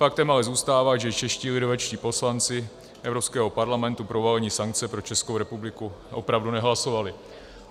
Faktem ale zůstává, že čeští lidovečtí poslanci Evropského parlamentu pro uvalení sankce na Českou republiku opravdu nehlasovali.